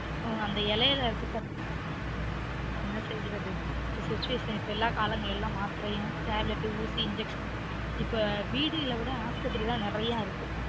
இப்ப அந்த இலைல இருக்க என்ன செய்யுறது situation இப்ப காலங்கள் எல்லாம் மாத்திரையும் tablet ஊசி injection இப்ப வீதிகள விட ஆஸ்பத்திரி தான் நெறய இருக்கு